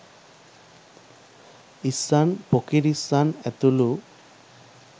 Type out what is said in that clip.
ඉස්සන් පොකිරිස්සන් ඇතුළු